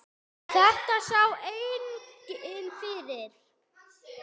Þetta sá enginn fyrir.